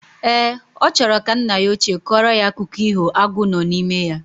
Ee, ochoro ka nna ya oche koro ya akụko iho agu no na ime ya.